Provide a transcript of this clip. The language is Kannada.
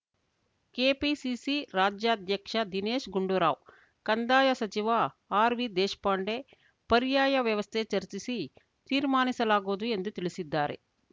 ಕೆಪಿಸಿಸಿ ರಾಜ್ಯಾಧ್ಯಕ್ಷ ದಿನೇಶ್‌ ಗುಂಡೂರಾವ್‌ ಕಂದಾಯ ಸಚಿವ ಆರ್‌ವಿ ದೇಶ್ ಪಾಂಡೆ ಪರ್ಯಾಯ ವ್ಯವಸ್ಥೆ ಚರ್ಚಿಸಿ ತೀರ್ಮಾನಿಸಲಾಗುವುದು ಎಂದು ತಿಳಿಸಿದ್ದಾರೆ